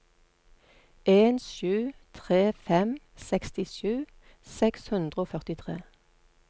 en sju tre fem sekstisju seks hundre og førtitre